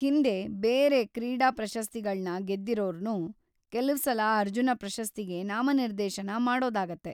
ಹಿಂದೆ ಬೇರೆ ಕ್ರೀಡಾ ಪ್ರಶಸ್ತಿಗಳ್ನ ಗೆದ್ದಿರೋರ್ನೂ ಕೆಲವ್ಸಲ ಅರ್ಜುನ ಪ್ರಶಸ್ತಿಗೆ ನಾಮನಿರ್ದೇಶನ ಮಾಡೋದಾಗತ್ತೆ.